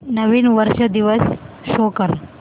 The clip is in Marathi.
नवीन वर्ष दिवस शो कर